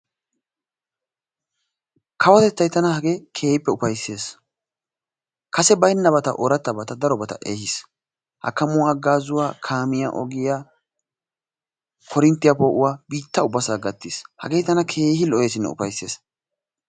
kawotettay tana hagee keehippe ufayisses. kase bayinnabata oorattabata darobata ehiis. hakkamuwaa haggaazuwa kaamiya ogiya korinttiya poo'uwa biitta ubbasaa gattiis. hagee tana keehi lo'eesinne ufayisses.